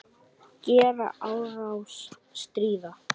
Gera árás- stríða